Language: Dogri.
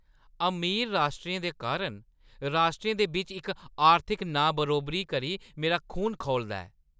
अमीर राश्ट्रें दे कारण राश्ट्रें दे बिच्च इस आर्थिक नाबरोबरी करी मेरा खून खौलदा ऐ।